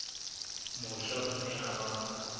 mosha o ne a ba